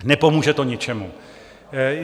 Nepomůže to ničemu.